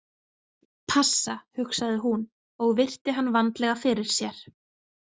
Passa, hugsaði hún og virti hann vandlega fyrir sér.